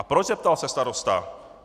"A proč?" zeptal se starosta.